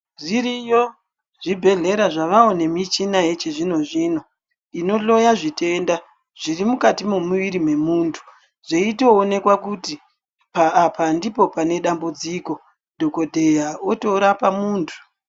Zviiyo zvibhedhlera zvavawo nemichina yechizvinozvino inohloya zvitenda zvirimukati memuviri wemuntu, zveitoonekwa kuti apa ndipo panedambudziko, dhogodheya otorapa muntu.